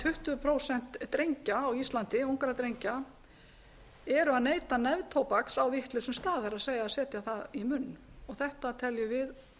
tuttugu prósent drengja á íslandi ungra drengja eru að neyta neftóbaks á vitlausum stað það er setja það í munn þetta teljum við